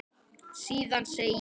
Síðan segir